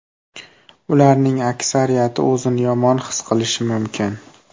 Ularning aksariyati o‘zini yomon his qilishi mumkin.